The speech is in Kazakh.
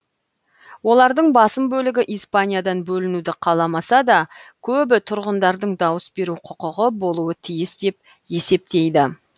олардың басым бөлігі испаниядан бөлінуді қаламаса да көбі тұрғындардың дауыс беру құқығы болуы тиіс деп есептейді